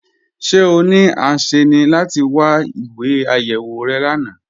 Ṣẹ̀ ọ ní ànṣẹ́ni láti gbá ìwé ayéwò rẹ lána?